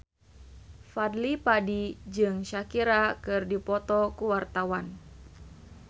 Fadly Padi jeung Shakira keur dipoto ku wartawan